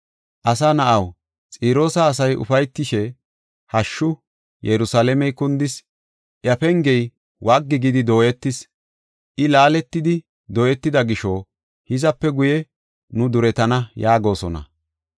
“Asa na7aw, Xiroosa asay ufaytishe, ‘Hashshu! Yerusalaamey kundis; iya pengey waggi gidi dooyetis. I laaletidi dooyetida gisho hizape guye nu duretana’ yaagosona.